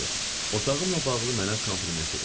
Otağımla bağlı mənə kompliment dedi.